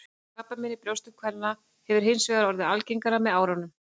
Krabbamein í brjóstum kvenna hefur hins vegar orðið algengara með árunum.